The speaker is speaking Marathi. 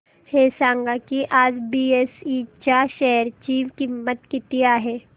हे सांगा की आज बीएसई च्या शेअर ची किंमत किती आहे